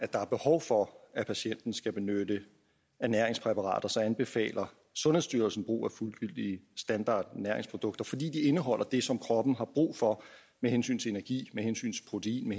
der er behov for at patienten skal benytte ernæringspræparater så anbefaler sundhedsstyrelsen brug af fuldgyldige standardernæringsprodukter fordi de indeholder det som kroppen har brug for med hensyn til energi protein